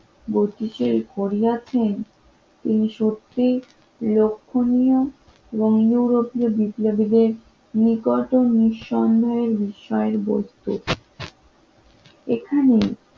Korea train সত্যিই লক্ষণীয় এবং ইউরোপীয় বিপ্লবীদের নিকট নিঃসন্দের বিষয়ের বস্তু এখানে